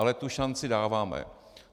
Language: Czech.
Ale tu šanci dáváme.